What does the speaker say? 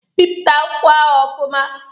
Bipụta akwụkwọ ahụ ọfụma!